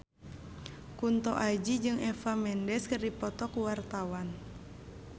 Kunto Aji jeung Eva Mendes keur dipoto ku wartawan